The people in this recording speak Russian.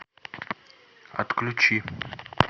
отключи